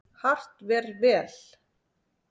Hart ver vel.